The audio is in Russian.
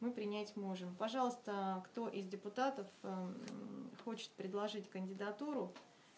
мы принять можем пожалуйста кто из депутатов хочет предложить кандидатуру